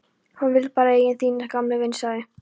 Hún vill bara eigur þínar, gamli vin, sagði